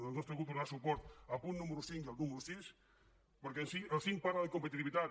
el nostre grup donarà suport al punt número cinc i al número sis perquè el cinc parla de competitivitat